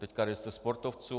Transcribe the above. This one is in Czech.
Teď registr sportovců.